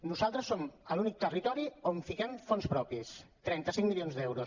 nosaltres som l’únic territori on fiquem fons propis trenta cinc milions d’euros